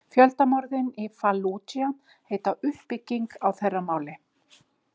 Fjöldamorðin í Fallúdja heita „uppbygging“ á þeirra máli.